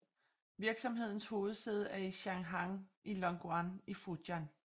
Virksomhedens hovedsæde er i Shanghang i Longyan i Fujian